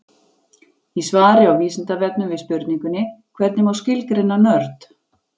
Í svari á Vísindavefnum við spurningunni Hvernig má skilgreina nörd?